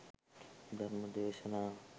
ධර්ම දේශනා